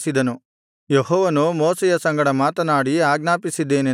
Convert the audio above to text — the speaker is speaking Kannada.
ಯೆಹೋವನು ಮೋಶೆಯ ಸಂಗಡ ಮಾತನಾಡಿ ಆಜ್ಞಾಪಿಸಿದ್ದೇನೆಂದರೆ